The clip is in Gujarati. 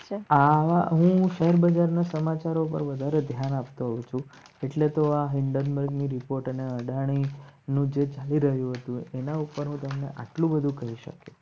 આવા હું શેર બજાર ના સમાચાર વધારે ધ્યાન આપજો એટલે તો આ હાયડેનબર્ગ ની રિપોર્ટ અને અદાણી નું જે ચાલી રહ્યું હતું એના ઉપર હું તમને આટલું બધું કઈ શક્યો.